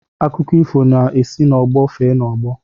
Akụkọ ifo na-esi n'ọgbọ fee n'ọgbọ